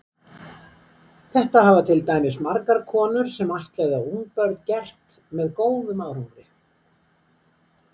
Þetta hafa til dæmis margar konur sem ættleiða ungbörn gert með góðum árangri.